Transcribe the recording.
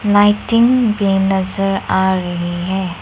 Lighting भी नजर आ रही है।